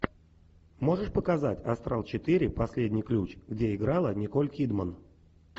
можешь показать астрал четыре последний ключ где играла николь кидман